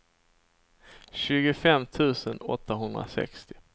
tjugofem tusen åttahundrasextio